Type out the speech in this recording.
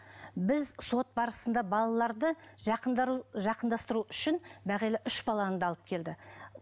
біз сот барысында балаларды жақындастыру үшін бағила үш баланы да алып келді